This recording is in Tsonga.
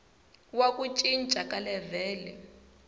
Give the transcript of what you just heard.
wa ku cinca ka levhele